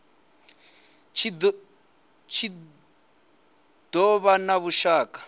tshi do vha na vhushaka